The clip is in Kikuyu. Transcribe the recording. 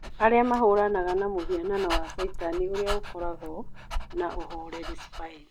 Arĩa mahũranaga na mũhianano wa caitani ũrĩa ũkoragwo na ũhoreri Spain